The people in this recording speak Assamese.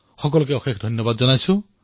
আপোনালোক সকলোলৈ অশেষ ধন্যবাদ